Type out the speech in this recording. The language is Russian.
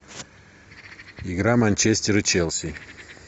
игра манчестер и челси